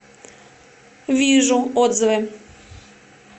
вижу отзывы